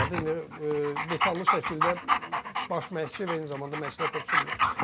İndi detallı şəkildə baş məşqçi və eyni zamanda məşqçilər korpusu bilir.